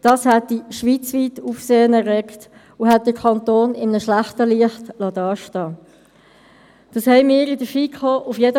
Diese ist immer gleich intensiv angekündigt, und wir werden uns – hoffe ich – in nützlicher Zeit, bis spätestens Mittwochmorgen, darüber einig werden.